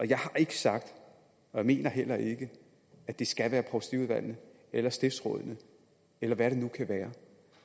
jeg har ikke sagt og jeg mener heller ikke at det skal være provstiudvalgene eller stiftsrådene eller hvem det nu kan være